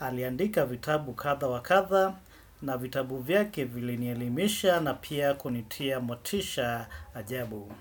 Aliandika vitabu katha wakatha na vitabu vyake vili nielimisha na pia kunitia motisha ajabu.